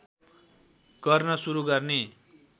गर्न सुरु गर्ने